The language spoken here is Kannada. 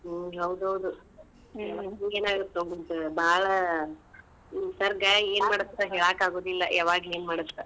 ಹಾ ಹೌದೌದ್ ಬಾಳ್ ನಿಸರ್ಗ ಅಂತ ಹೇಳಾಕ್ ಆಗುದಿಲ್ಲ ಯಾವಾಗ್ ಏನ್ ಮಾಡುತ್ತ.